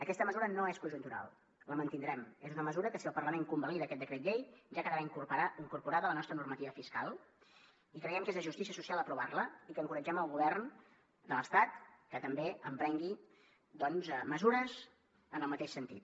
aquesta mesura no és conjuntural la mantindrem és una mesura que si el parlament convalida aquest decret llei ja quedarà incorporada a la nostra normativa fiscal i creiem que és de justícia social aprovar la i que encoratgem el govern de l’estat que també emprengui mesures en el mateix sentit